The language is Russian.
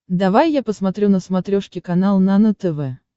давай я посмотрю на смотрешке канал нано тв